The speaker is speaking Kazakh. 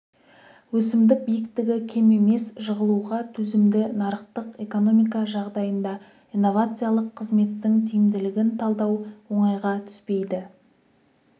өсімдік биіктігі кем емес жығылуға төзімді нарықтық экономика жағдайында инновациялық қызметтің тиімділігін талдау оңайға түспейді